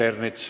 Peeter Ernits.